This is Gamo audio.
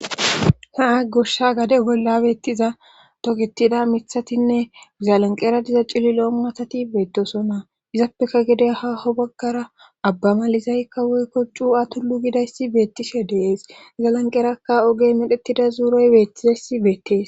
haa goshsha gade bollabeettiza togetida mithatinne izalanqera diza cilli lo7o matati beettosonna izappeka gede haho baggara abba malizaykka woykko cu atullu gidayssi beettishe dees zalanqerakka ogey medhettida zuuroy beettizayssi beettees